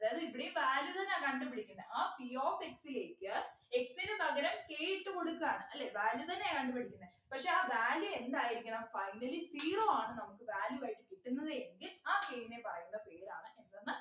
അതായത് ഇവിടെയും value തന്നാ കണ്ടുപിടിക്കുന്നെ ആ p of x ലേക്ക് x നു പകരം k ഇട്ടു കൊടുക്കാണ് അല്ലെ value തന്നെയാ കണ്ടുപിടിക്കുന്നെ പക്ഷെ ആ value എന്തായിരിക്കണം finally zero ആണ് നമുക് value ആയി കിട്ടുന്നത് എങ്കിൽ ആ പേരിനെ പറയുന്ന പേരാണ് എന്തന്ന്